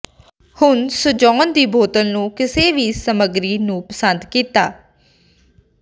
ਹੁਣ ਸਜਾਉਣ ਦੀ ਬੋਤਲ ਨੂੰ ਕਿਸੇ ਵੀ ਸਮੱਗਰੀ ਨੂੰ ਪਸੰਦ ਕੀਤਾ